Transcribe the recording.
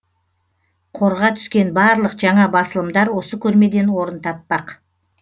қорға түскен барлық жаңа басылымдар осы көрмеден орын таппақ